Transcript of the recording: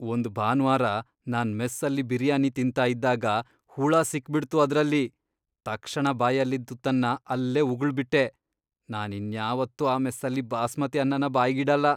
ಒಂದ್ ಭಾನ್ವಾರ ನಾನ್ ಮೆಸ್ಸಲ್ಲಿ ಬಿರಿಯಾನಿ ತಿಂತಾ ಇದ್ದಾಗ ಹುಳ ಸಿಕ್ಬಿಡ್ತು ಅದ್ರಲ್ಲಿ, ತಕ್ಷಣ ಬಾಯಲ್ಲಿದ್ ತುತ್ತನ್ನ ಅಲ್ಲೇ ಉಗುಳ್ಬಿಟ್ಟೆ. ನಾನ್ ಇನ್ಯಾವತ್ತೂ ಆ ಮೆಸ್ಸಲ್ಲಿ ಬಾಸ್ಮತಿ ಅನ್ನನ ಬಾಯ್ಗಿಡಲ್ಲ.